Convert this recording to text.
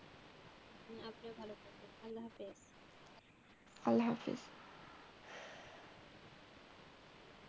আল্লাহ হাফেজ।